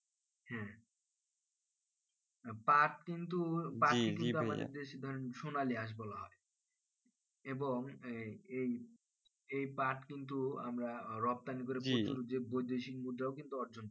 হ্যাঁ পাট কিন্তু পাট কিন্তু আমাদের দেশে ধরুন সোনালী আঁশ বলা হয় এবং এই এই পার্ট কিন্তু রপ্তানি করে প্রচুর যে বৈদেশিক মূল্য অর্জন করি